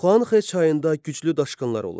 Xuanxə çayında güclü daşqınlar olurdu.